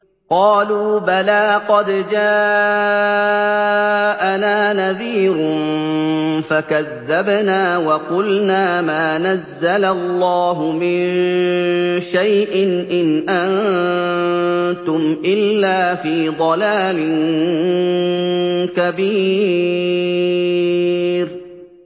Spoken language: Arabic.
قَالُوا بَلَىٰ قَدْ جَاءَنَا نَذِيرٌ فَكَذَّبْنَا وَقُلْنَا مَا نَزَّلَ اللَّهُ مِن شَيْءٍ إِنْ أَنتُمْ إِلَّا فِي ضَلَالٍ كَبِيرٍ